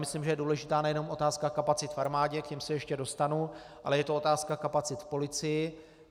Myslím, že je důležitá nejenom otázka kapacit v armádě, k těm se ještě dostanu, ale je to otázka kapacit v policii.